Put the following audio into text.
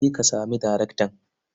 Je ka sami daraktan.